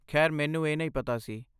ਖੈਰ ਮੈਨੂੰ ਇਹ ਨਹੀਂ ਪਤਾ ਸੀ।